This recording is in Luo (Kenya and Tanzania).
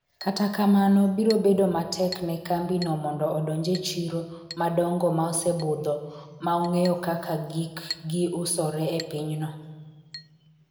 kata kamano biro bedo matek ne kambi no mondo odonj e chiro madongo ma osebudho ma ong'eyo kaka gik gi usore e piny no